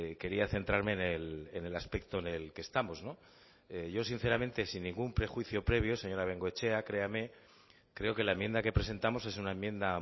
quería centrarme en el aspecto en el que estamos yo sinceramente sin ningún prejuicio previo señora bengoechea créame creo que la enmienda que presentamos es una enmienda